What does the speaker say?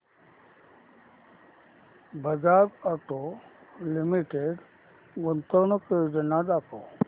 Bajaj auto limited गुंतवणूक योजना दाखव